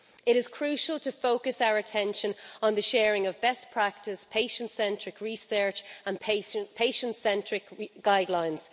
It is crucial to focus our attention on the sharing of best practice, patient-centred research and patient-centric guidelines.